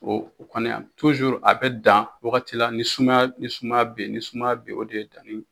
O o kɔni a bɛ dan wagati la ni sumaya ni sumaya beyi ni sumaya beyi o de ye danni.